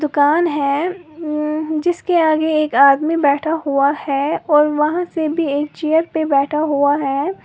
कान है उम्म अ जिसके आगे एक आदमी बैठा हुआ है और वहां से भी एक चेयर पर बैठा हुआ है।